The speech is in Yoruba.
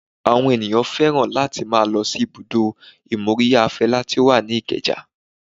Àwọn ènìyàn fẹ́ràn láti máa lọ sí ibùdó ìmóríyá Fela tí ó wà ní ìkeja